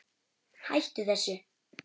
Hættu þessu.